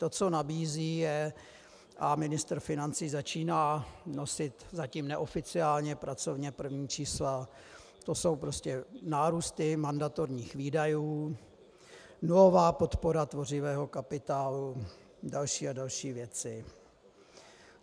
To, co nabízí, je - a ministr financí začíná nosit zatím neoficiálně pracovně první čísla, to jsou prostě nárůsty mandatorních výdajů, nulová podpora tvořivého kapitálu, další a další věci.